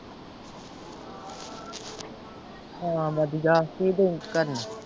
ਹਾਂ ਵਧੀਆ ਕੀ ਦਈ ਕਰਨ।